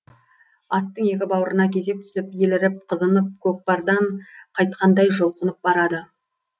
аттың екі бауырына кезек түсіп еліріп қызынып көкпардан қайтқандай жұлқынып барады